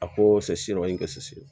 A ko